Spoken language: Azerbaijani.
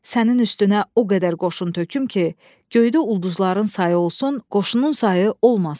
Sənin üstünə o qədər qoşun töküm ki, göydə ulduzların sayı olsun, qoşunun sayı olmasın.